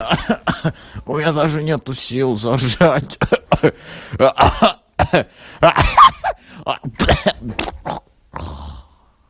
у меня даже нет сил заржать кхе-кхе